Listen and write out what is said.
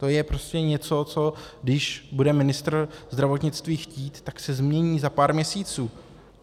To je prostě něco, co když bude ministr zdravotnictví chtít, tak se změní za pár měsíců.